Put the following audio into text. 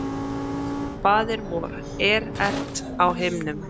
Faðir vor, er ert á himnum.